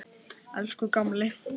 Elsku gamli.